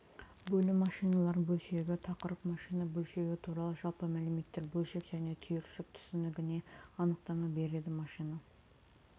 бөлім машиналар бөлшегі тақырып машина бөлшегі туралы жалпы мәліметтер бөлшек және түйіршік түсінігіне анықтама береді машина